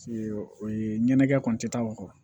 o ye ɲɛnajɛ kɔni tɛ taa o kɔ